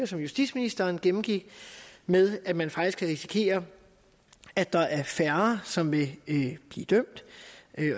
som justitsministeren gennemgik med at man faktisk kan risikere at der er færre som vil blive dømt